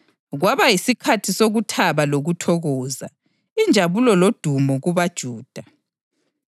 Kwaba yisikhathi sokuthaba lokuthokoza, injabulo lodumo kubaJuda.